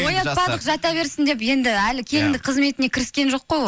оятпадық жата берсін деп енді әлі келіндік қызметіне кіріскен жоқ қой ол